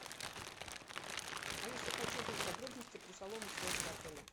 алиса хочу узнать подробности про салоны связи в отеле